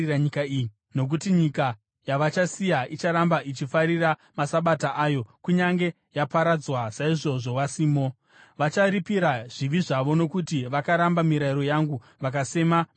Nokuti nyika yavachasiya icharamba ichifarira masabata ayo kunyange yaparadzwa saizvozvo vasimo. Vacharipira zvivi zvavo nokuti vakaramba mirayiro yangu vakasema mitemo yangu.